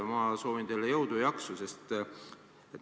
Ma soovin teile jõudu ja jaksu.